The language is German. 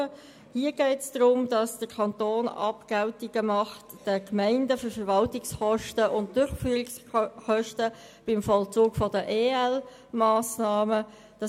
Hier geht es darum, dass der Kanton den Gemeinden Abgeltungen für Verwaltungskosten und Durchführungskosten beim Vollzug der ELMassnahmen entrichtet.